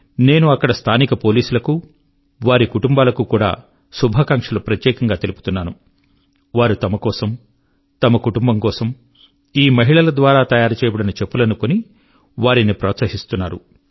నేను అక్కడి స్థానిక పోలీసులకు వారి కుటుంబాలకు కూడా శుభాకాంక్షలు ప్రత్యేకం గా తెలుపుతున్నాను వారు తమ కోసం తమ కుటుంబం కోసం ఈ మహిళల ద్వారా తయారుచేయబడిన చెప్పులను కొని వారిని ప్రోత్సహిస్తున్నారు